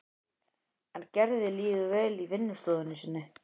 En Gerði líður vel í vinnustofunni sinni.